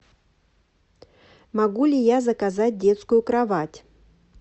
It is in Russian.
могу ли я заказать детскую кровать